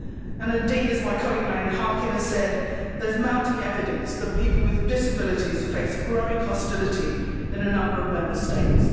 Indeed, as my colleague Marian Harkin has said, there is mounting evidence that people with disabilities face growing hostility in a number of Member States.